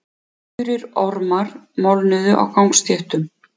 Þurrir ormar molnuðu á gangstéttum.